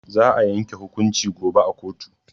Za a yanke hukunci gobe a koto.